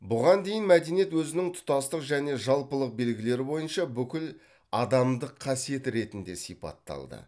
бұған дейін мәдениет өзінің тұтастық және жалпылық белгілері бойынша бүкіладамдық қасиет ретінде сипатталды